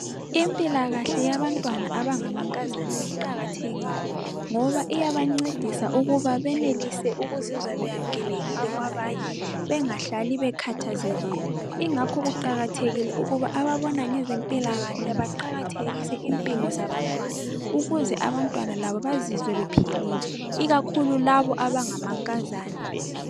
Impilakahle yabantwana abangamankazana iqakathekile. Ngoba iyabancedisa ukuba benelise ukuzizwa beyamkelekile kwabanye bengahlali bekhathazekile. Ingakho kuqakathekile ukuba ababona ngezempilakahle baqakathekise impilo zabantwana, ukuze abantwana labo bazizwe bephilile. Ikakhulu labo abangamankazana.